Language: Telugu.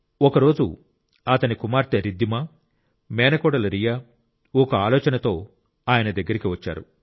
ఒక రోజు అతని కుమార్తె రిద్దిమా మేనకోడలు రియా ఒక ఆలోచనతో ఆయన దగ్గరికి వచ్చారు